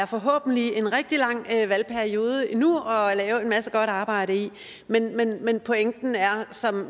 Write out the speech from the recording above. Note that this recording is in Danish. forhåbentlig en rigtig lang valgperiode endnu at lave en masse godt arbejde i men pointen er som